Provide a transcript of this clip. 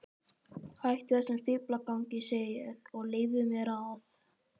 Hættu þessum fíflagangi, segi ég, og leyfðu mér að.